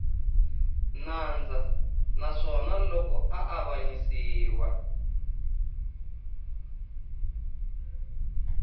nandzu naswona loko a avanyisiwa